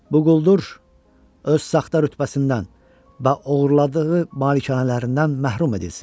Bu quldur, öz saxta rütbəsindən və oğurladığı malikanələrindən məhrum edilsin.